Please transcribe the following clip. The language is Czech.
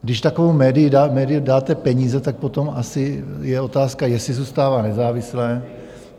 Když takovému médiu dáte peníze, tak potom asi je otázka, jestli zůstává nezávislé.